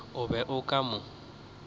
o be o ka mo